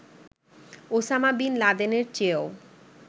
Osama bin লাদেনের চেয়েও